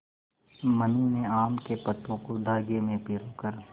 मनु ने आम के पत्तों को धागे में पिरो कर